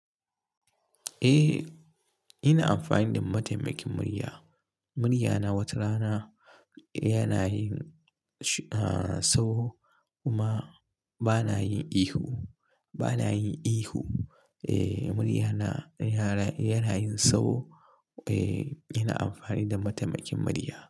Eh, ina amfani da mataimakin murya. Muryana wata rana yana yin, ah, sau kuma bana yin ihu, bana yin ihu. Eh, muryana yana, yana yin sau. Eh, ina amfani da mataimakin murya.